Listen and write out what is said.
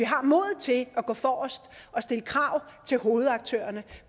har modet til at gå forrest og stille krav til hovedaktørerne